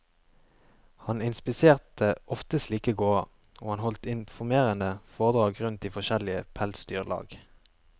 Han inspiserte ofte slike gårder, og han holdt informerende foredrag rundt i forskjellige pelsdyrlag.